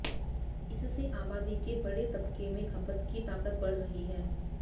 इससे आबादी के बड़े तबके में खपत की ताकत बढ़ रही है